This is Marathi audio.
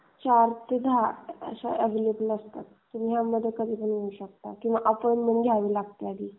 तुम्ही यामध्ये कधीही येऊ शकता किंवा अपॉइंटमेंट घ्यावी लागते.